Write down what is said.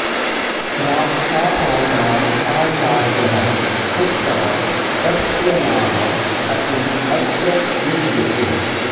राक्षासानाम् आचार्यः शुक्रः तस्य नाम अपि अत्र युज्यते